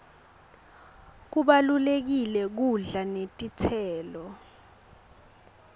kubalulekile kudla netitselo